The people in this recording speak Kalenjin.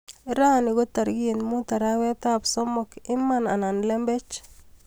Rani ko tarik mut arawetap somok, iman anan lembech.